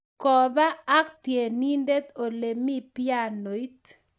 koba ak tienindet ole mii pianoit